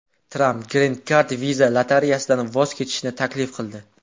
Tramp Green Card viza lotereyasidan voz kechishni taklif qildi .